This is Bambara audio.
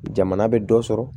Jamana bɛ dɔ sɔrɔ